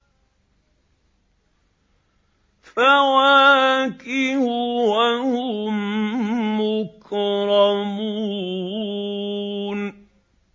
فَوَاكِهُ ۖ وَهُم مُّكْرَمُونَ